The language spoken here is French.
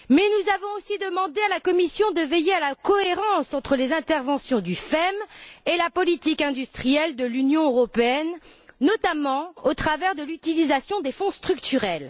Nous avons aussi demandé à la Commission de veiller à la cohérence entre les interventions du FEM et la politique industrielle de l'Union européenne, notamment au travers de l'utilisation des Fonds structurels.